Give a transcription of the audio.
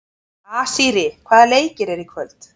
Asírí, hvaða leikir eru í kvöld?